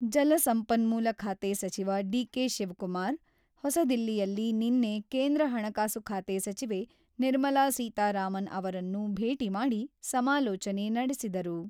ಜಲಸಂಪನ್ಮೂಲ ಖಾತೆ ಸಚಿವ ಡಿ.ಕೆ.ಶಿವಕುಮಾರ್, ಹೊಸದಿಲ್ಲಿಯಲ್ಲಿ ನಿನ್ನೆ ಕೇಂದ್ರ ಹಣಕಾಸು ಖಾತೆ ಸಚಿವೆ ನಿರ್ಮಲಾ ಸೀತಾರಾಮನ್ ಅವರನ್ನು ಭೇಟಿ ಮಾಡಿ ಸಮಾಲೋಚನೆ ನಡೆಸಿದರು.